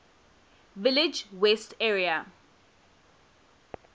village west area